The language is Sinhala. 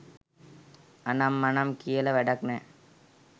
අනම් මනම් කියලා වැඩක් නෑ